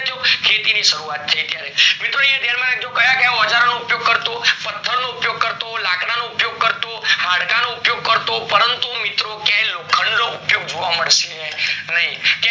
ખેતી ની શરૂવાત થય ત્યારે, યાધ્યાન રાખજો મિત્રો ક્યાં ક્યાં ઓજારો ઉપયોગ કરતો, પથર નો ઉપયોગ કરતો, લાકડાનો ઉપયોગ કરતો, હાડકાનો ઉપયોગ કરતો, પરંતુ મિત્રો ક્યાય લોખંડ નો ઉપયોગ જોવા મળશે નઈ